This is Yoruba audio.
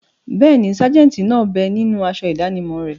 Bẹ́ẹ̀ni, sájẹ̀ntì náà bẹ ninú aṣọ ìdánimọ̀ rẹ̀